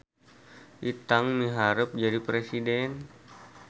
Itang miharep jadi presiden